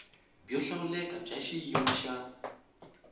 byo hlawuleka bya xiyimo xa